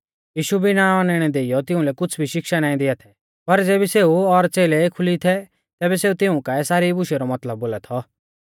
यीशु बिणा औनैणै देइयौ तिउंलै कुछ़ भी शिक्षा नाईं दिया थै पर ज़ेबी सेऊ और च़ेलै एखुली थै तैबै सेऊ तिऊं काऐ सारी बूशेऊ रौ मतलब बोला थौ